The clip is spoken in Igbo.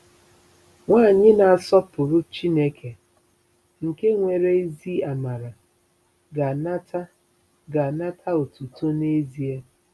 Nwanyị na-asọpụrụ Chineke nke nwere ezi amara ga-anata ga-anata otuto n'ezie.